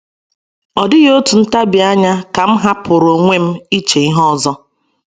Ọ dịghị otu ntabi anya ka m hapụrụ onwe m iche ihe ọzọ.